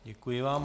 Děkuji vám.